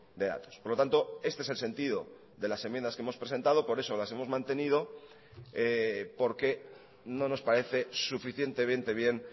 de datos por lo tanto este es el sentido de las enmiendas que hemos presentado por eso las hemos mantenido porque no nos parece suficientemente bien